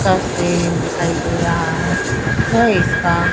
का स्टीयरिंग दिखाई दे रहा है है इसका--